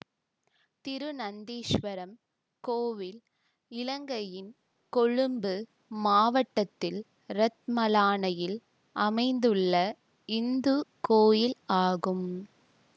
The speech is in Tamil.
திருநந்தீசுவரம் கோயில் இலங்கையின் கொழும்பு மாவட்டத்தில் இரத்மலானையில் அமைந்துள்ள இந்து கோயில் ஆகும்